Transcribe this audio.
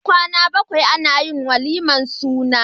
Bayan kwAna bakwai Anayin walimar suna